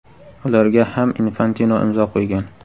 Ularga ham Infantino imzo qo‘ygan.